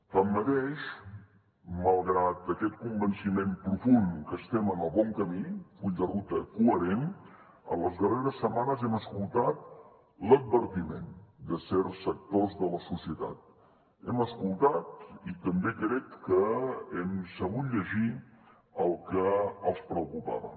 tanmateix malgrat aquest convenciment profund que estem en el bon camí full de ruta coherent en les darreres setmanes hem escoltat l’advertiment de certs sectors de la societat hem escoltat i també crec que hem sabut llegir el que els preocupava